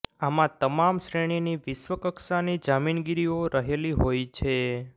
આમાં તમામ શ્રેણીની વિશ્વ કક્ષાની જામીનગીરીઓ રહેલી હોય છે